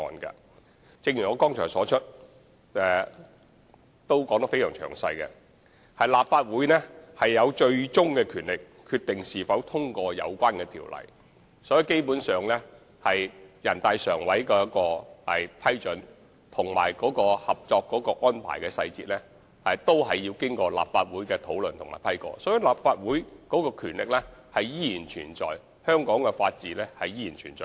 正如我剛才所作的詳細闡述，立法會具有最終權力決定是否通過有關的條例草案，所以基本上全國人大常委會的批准及《合作安排》的細節都要經立法會討論，立法會的權力及香港的法治依然存在。